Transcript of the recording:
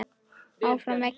ÁFRAM VEGINN.